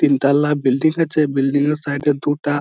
তিনতাল্লা building আছে। Building এর side -এ দুটা--